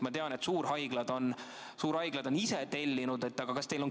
Ma tean, et suurhaiglad on ise tellinud.